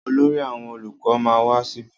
Olórí àwọn olùkọ ma wá síbí.